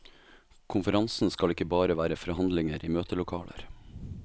Konferansen skal ikke bare være forhandlinger i møtelokaler.